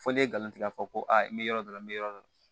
Foli ye nkalon tigɛ ko a n bɛ yɔrɔ dɔ la n bɛ yɔrɔ dɔ la